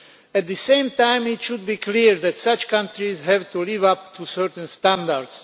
At the same time, it should be clear that such countries have to live up to certain standards.